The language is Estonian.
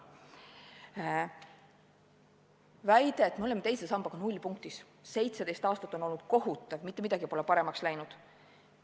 On väidetud, et me oleme teise sambaga nullpunktis, 17 aastat on olnud kohutav, mitte midagi pole paremaks läinud.